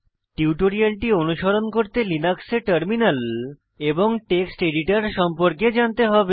টিউটোরিয়ালটি অনুসরণ করতে লিনাক্সে টার্মিনাল এবং টেক্সট এডিটর সম্পর্কে জানতে হবে